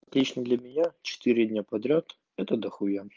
лично для меня четыре дня подряд это дохуя